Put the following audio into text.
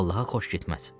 Allaha xoş getməz.